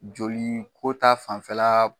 Joli ko ta fanfɛla